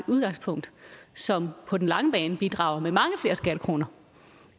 udgangspunkt som på den lange bane bidrager med mange flere skattekroner